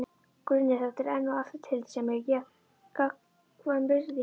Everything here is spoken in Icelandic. Grunnur þeirra er enn og aftur tillitssemi og gagnkvæm virðing.